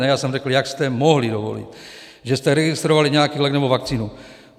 Ne, já jsem řekl, jak jste mohli dovolit, že jste registrovali nějaký lék nebo vakcínu.